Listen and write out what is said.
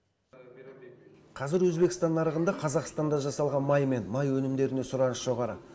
қазір өзбекстан нарығында қазақстанда жасалған май мен май өнімдеріне сұраныс жоғары